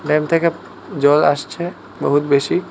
Dam থেকে জল আসছে বহুত বেশি।